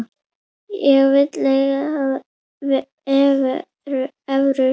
Hver vill eiga evrur?